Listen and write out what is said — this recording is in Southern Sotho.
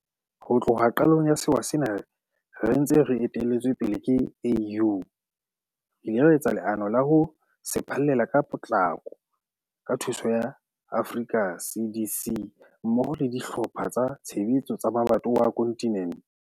Ho tloha qalong ya sewa sena re ntse re etelletswe pele ke AU, re ile ra etsa leano la ho se phallela ka potlako ka thuso ya Africa CDC mmoho le dihlopha tsa tshebetso tsa mabatowa a kontinente.